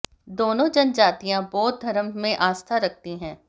दोनों जनजातियां बौद्ध धर्म में आस्था रखती हैं